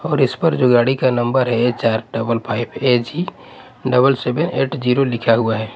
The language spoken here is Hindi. और इस पर जो गाड़ी का नंबर है लिखा हुआ है।